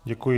Děkuji.